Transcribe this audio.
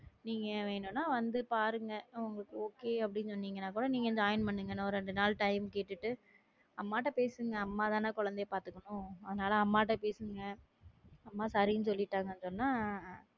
நீங்க வேணும்னா வந்து பாருங்க உங்களுக்கு okay அப்படின்னு சொன்னீங்கன்னா கூட நீங்க join பண்ணுங்க இன்னும் ஒரு இரண்டு நாள் time கேட்டுட்டு அம்மாட்ட பேசுங்க அம்மாதானே குழந்தையை பாத்துக்கணும் அதனால அம்மாட்ட பேசுங்க அம்மா சரின்னு சொல்லிட்டாங்கன்னு சொன்னா,